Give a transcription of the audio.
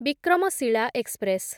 Vikramshila express